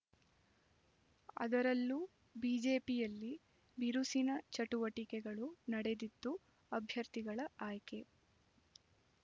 ಅದರಲ್ಲೂ ಬಿಜೆಪಿಯಲ್ಲಿ ಬಿರುಸಿನ ಚಟುವಟಿಕೆಗಳು ನಡೆದಿದ್ದು ಅಭ್ಯರ್ಥಿಗಳ ಆಯ್ಕೆ